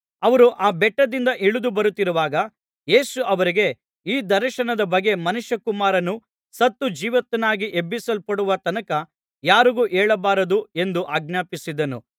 ಅವರು ಆ ಬೆಟ್ಟದಿಂದ ಇಳಿದು ಬರುತ್ತಿರುವಾಗ ಯೇಸು ಅವರಿಗೆ ಈ ದರ್ಶನದ ಬಗ್ಗೆ ಮನುಷ್ಯಕುಮಾರನು ಸತ್ತು ಜೀವಿತನಾಗಿ ಎಬ್ಬಿಸಲ್ಪಡುವ ತನಕ ಯಾರಿಗೂ ಹೇಳಬಾರದು ಎಂದು ಆಜ್ಞಾಪಿಸಿದನು